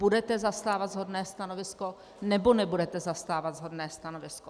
Budete zastávat shodné stanovisko, nebo nebudete zastávat shodné stanovisko?